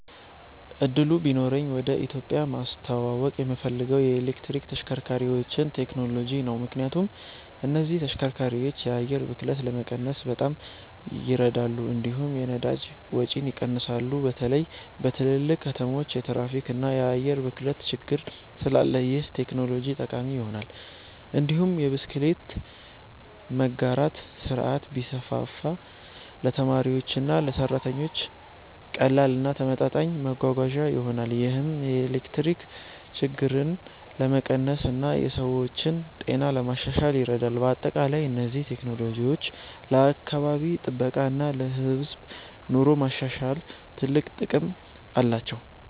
እድሉ ቢኖረኝ ወደ ኢትዮጵያ ማስተዋወቅ የምፈልገው የኤሌክትሪክ ተሽከርካሪዎችን ቴክኖሎጂ ነው። ምክንያቱም እነዚህ ተሽከርካሪዎች የአየር ብክለትን ለመቀነስ በጣም ይረዳሉ፣ እንዲሁም የነዳጅ ወጪን ይቀንሳሉ። በተለይ በትልልቅ ከተሞች የትራፊክ እና የአየር ብክለት ችግር ስላለ ይህ ቴክኖሎጂ ጠቃሚ ይሆናል። እንዲሁም የብስክሌት መጋራት ስርዓት ቢስፋፋ ለተማሪዎችና ለሰራተኞች ቀላል እና ተመጣጣኝ መጓጓዣ ይሆናል። ይህም የትራፊክ ችግርን ለመቀነስ እና የሰዎችን ጤና ለማሻሻል ይረዳል። በአጠቃላይ እነዚህ ቴክኖሎጂዎች ለአካባቢ ጥበቃ እና ለህዝብ ኑሮ ማሻሻል ትልቅ ጥቅም አላቸው።